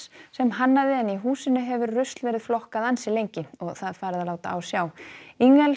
sem hannaði en í húsinu hefur rusl verið flokkað ansi lengi og það farið að láta á sjá